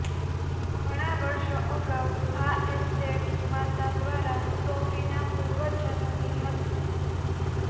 ઘણા વર્ષો અગાઉ આ એસ્ટેટ માતા દ્વારા સોફીના પૂર્વજોની હતી